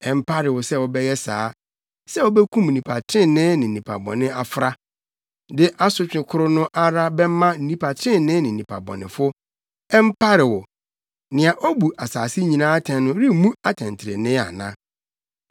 Ɛmpare wo sɛ wobɛyɛ saa, sɛ wubekum nnipa trenee ne nnipa bɔnefo afra, de asotwe koro no ara bɛma nnipa trenee ne nnipa bɔnefo. Ɛmpare wo! Nea obu asase nyinaa atɛn no remmu atɛntrenee ana?”